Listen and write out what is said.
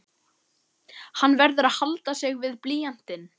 Hann verður að halda sig við blýantinn.